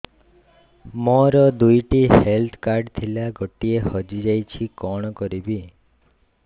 ମୋର ଦୁଇଟି health card ଥିଲା ଗୋଟିଏ ହଜି ଯାଇଛି କଣ କରିବି